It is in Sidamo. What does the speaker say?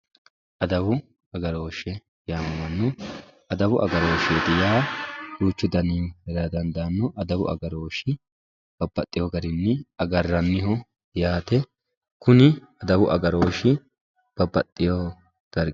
adawu agarooshshe yaamamanno adawu agarooshshseeti yaa duuchu dani heerara dandaanno adawu agarooshi babbaxewo garinni agarranniho yaate kuni adawu agarooshshi babbaxewo darg